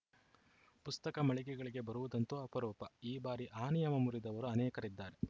ಪುಸ್ತಕ ಮಳಿಗೆಗಳಿಗೆ ಬರುವುದಂತೂ ಅಪರೂಪ ಈ ಬಾರಿ ಆ ನಿಯಮ ಮುರಿದವರು ಅನೇಕರಿದ್ದಾರೆ